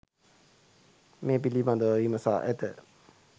මේ පිළිබඳව විමසා ඇත.